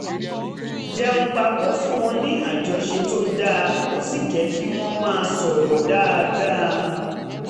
jẹun papọ̀ ń fún wọn ní àjọṣe tó dáa ó sì jẹ́ kí wọ́n máa sọ̀rọ̀ dáadáa